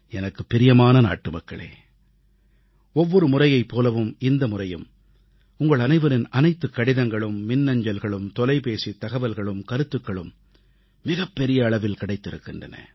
எனக்குப் பிரியமான நாட்டுமக்களே ஒவ்வொரு முறையைப் போலவும் இந்த முறையும் உங்கள் அனைவரின் அனைத்துக் கடிதங்களும் மின்னஞ்சல்களும் தொலைபேசித் தகவல்களும் கருத்துக்களும் மிகப்பெரிய அளவில் கிடைத்திருக்கின்றன